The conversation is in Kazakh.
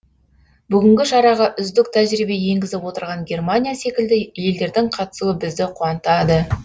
бүгінгі шараға үздік тәжірибе енгізіп отырған германия секілді елдердің қатысуы бізді қуантады